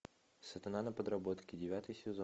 сатана на подработке девятый сезон